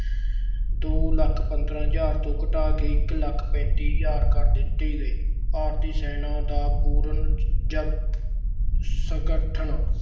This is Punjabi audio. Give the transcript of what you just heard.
ਦੋ ਲੱਖ ਪੰਦਰਾਂ ਹਜਾਰ ਤੋਂ ਘਟਾ ਕੇ ਇੱਕ ਲੱਖ ਪੈਂਤੀ ਹਜਾਰ ਕਰ ਦਿੱਤੀ ਗਈ। ਭਾਰਤੀ ਸੈਨਾ ਦਾ ਪੁਨਰ ਸੰਗਠਨ